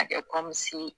A kɛ ye